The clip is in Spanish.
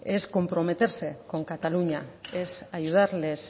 es comprometerse con cataluña es ayudarles